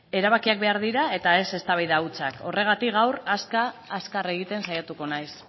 erabakiak behar dira eta ez eztabaida hutsak horregatik gaur azkar azkar egiten saiatuko naiz